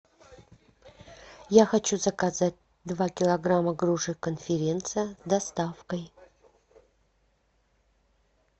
я хочу заказать два килограмма груши конференция с доставкой